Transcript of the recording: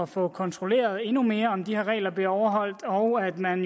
få kontrolleret endnu mere om de regler bliver overholdt og at man